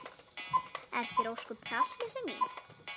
Er þér ósköp kalt litla mín?